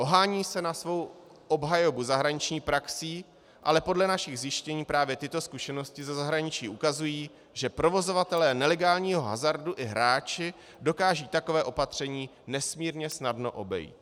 Ohání se na svou obhajobu zahraniční praxí, ale podle našich zjištění právě tyto zkušenosti ze zahraničí ukazují, že provozovatelé nelegálního hazardu i hráči dokážou takové opatření nesmírně snadno obejít.